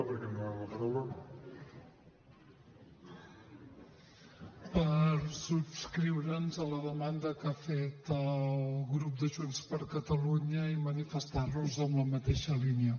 per subscriure la demanda que ha fet el grup de junts per catalunya i manifestar nos en la mateixa línia